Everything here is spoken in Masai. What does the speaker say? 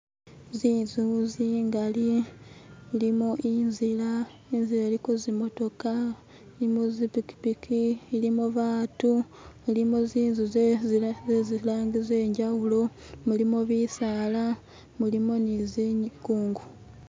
Zinzu zingali mulimo inzila, inzila iliko zimotoka, ilimo zipikipiki, ilimo batu, ilimu zinzu ze zilangi zenjawulo, mulimo bisala, mulimo ne zikunku.